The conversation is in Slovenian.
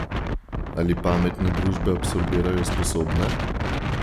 Ali pametne družbe absorbirajo sposobne?